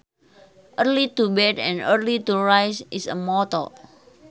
Early to bed and early to rise is a motto